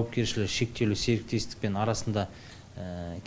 жауапкершлігі шектеулі серіктестікпен арасында